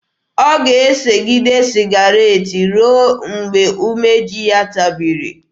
Ọ ga-esegide sịgaret ruo mgbe umeji ya tabiri.